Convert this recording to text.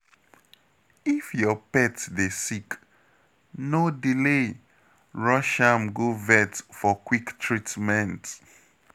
If your pet dey sick, no delay, rush am go vet for quick treatment.